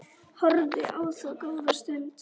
Horfði á það góða stund.